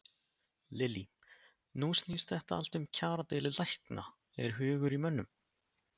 Lillý: Nú snýst þetta allt um kjaradeilu lækna, er hugur í mönnum?